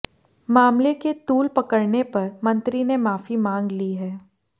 मामले के तूल पकड़ने पर मंत्री ने माफी मांग ली है